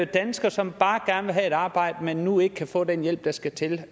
danskere som bare gerne vil have et arbejde men nu ikke kan få den hjælp der skal til